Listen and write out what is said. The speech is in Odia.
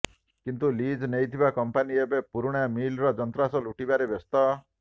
କିନ୍ତୁ ଲିଜ୍ ନେଇଥିବା କମ୍ପାନୀ ଏବେ ପୂରୁଣା ମିଲ୍ର ଯନ୍ତ୍ରାଂଶ ଲୁଟିବାରେ ବ୍ୟସ୍ତ